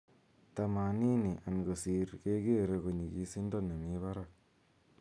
tamanini and kosiir kegere ko nyigisindo nemii baraak.